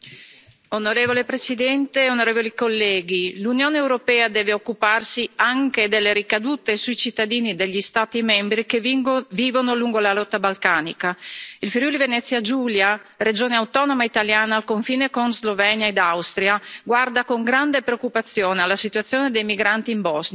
Signor Presidente, onorevoli colleghi, l'Unione europea deve occuparsi anche delle ricadute sui cittadini degli Stati membri che vivono lungo la rotta balcanica. Il Friuli Venezia Giulia, regione autonoma italiana, al confine con Slovenia ed Austria, guarda con grande preoccupazione alla situazione dei migranti in Bosnia.